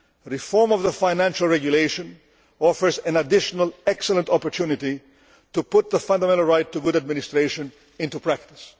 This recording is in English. Reform of the Financial Regulation offers an additional excellent opportunity to put the fundamental right to good administration into practice.